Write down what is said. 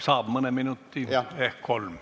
Saab mõne minuti ehk kolm.